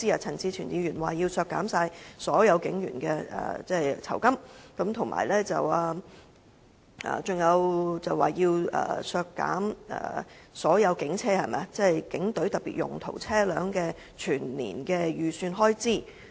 陳志全議員提出要削減所有警員的酬金，還說要削減所有警隊特別用途車輛全年的預算開支。